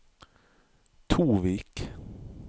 Tovik